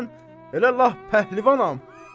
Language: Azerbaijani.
Deyəsən elə lap pəhlivanam.